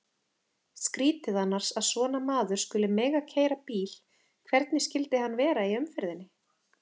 Skrýtið annars að svona maður skuli mega keyra bíl, hvernig skyldi hann vera í umferðinni?